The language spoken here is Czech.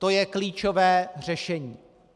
To je klíčové řešení.